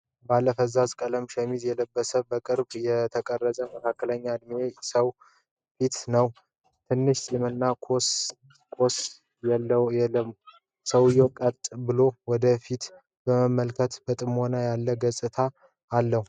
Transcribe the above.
ባለ ፈዛዛ ቀለም ሸሚዝ የለበሰ፣ በቅርብ የተቀረጸ የመካከለኛ ዕድሜ ሰው ፊት ነው። ትንሽ ፂምና ኮስ የለውም። ሰውየው ቀጥ ብሎ ወደ ፊት በመመልከት በጥሞና ያለ አገላለጽ አለው።